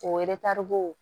O bo